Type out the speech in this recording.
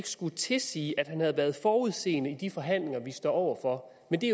skulle tilsige at han havde været forudseende i de forhandlinger vi står over for men det